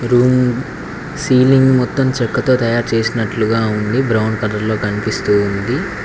Room ceiling మొత్తం చెక్కతో తయారు చేసినట్లుగా ఉంది బ్రౌన్ కలర్ లో కనిపిస్తూ ఉంది.